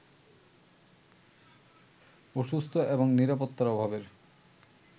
অসুস্থ এবং নিরাপত্তার অভাবের